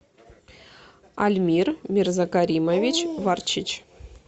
альмир мирзакаримович варчич